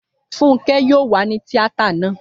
Fúnkẹ́ yóò wà ní tíátà náà